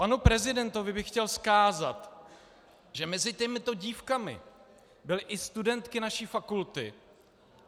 Panu prezidentovi bych chtěl vzkázat, že mezi těmito dívkami byly i studentky naší fakulty.